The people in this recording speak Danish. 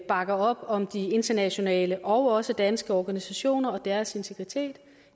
bakker op om de internationale og også danske organisationer og deres integritet